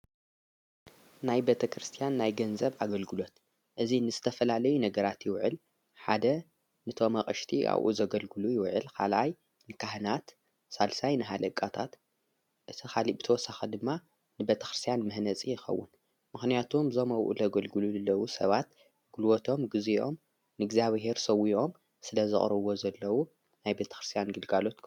ናይ ቤተ ክርስትያን ናይ ገንዘብ ኣገልግሎት እዙይ እንስተፈላለዩ ነገራት ይውዕል ሓደ ንቶምቕሽቲ ኣብኡ ዘገልግሉ ይውዕል ኻልኣይ ንካህናት ሣልሳይ ንኃለቃታት እቲ ኻልጵቶወሳኺ ድማ ንበተኽርስያን ምህነጺ የኸውን ምኽንያቶም ዞምውኡ ለ ገልግሉ ለዉ ሰባት ግልወቶም ጊዜዮም ንእግዚኣብሔር ሰው ዮዮም ስለ ዘቕረዎ ዘለዉ ናይ በቴ ክርስትያን ጌልጋሎት።